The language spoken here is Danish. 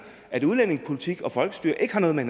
at udlændingepolitikken og folkestyret ikke har noget med